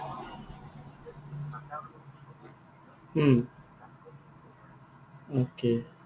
উম okay